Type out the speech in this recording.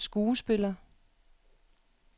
skuespiller